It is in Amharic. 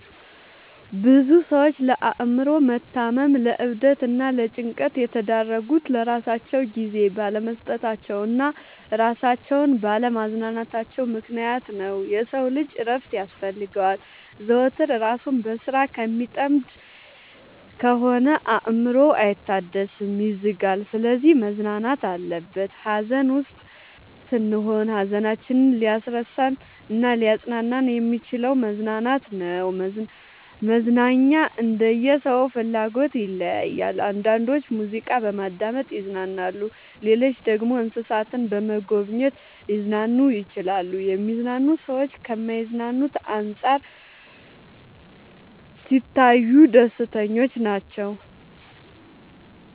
ብዙ ሰዎች ለአእምሮ መታመም ለዕብደት እና ለጭንቀት የተዳረጉት ለራሳቸው ጊዜ ባለመስጠታቸው እና እራሳቸውን ባለ ማዝናናታቸው ምክንያት ነው። የሰው ልጅ እረፍት ያስፈልገዋል። ዘወትር እራሱን በስራ ከሚጠምድ ከሆነ አእምሮው አይታደስም ይዝጋል። ስለዚህ መዝናናት አለበት። ሀዘን ውስጥ ስንሆን ሀዘናችንን ሊያስረሳን እናሊያፅናናን የሚችለው መዝናናት ነው። መዝናናኛ እንደየ ሰው ፍላጎት ይለያያል። አንዳንዶች ሙዚቃ በማዳመጥ ይዝናናሉ ሌሎች ደግሞ እንሰሳትን በመጎብኘት ሊዝናኑ ይችላሉ። የሚዝናኑ ሰዎች ከማይዝናኑት አንፃር ሲታዩ ደስተኞች ናቸው።